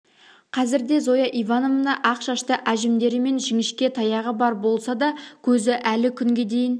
қазірде зоя ивановна ақ шашты әжімдері мен жінішке таяғы бар болса да көзі әлі күнге дейін